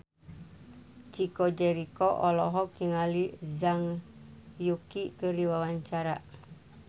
Chico Jericho olohok ningali Zhang Yuqi keur diwawancara